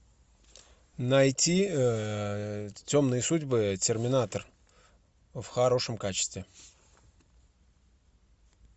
найти темные судьбы терминатор в хорошем качестве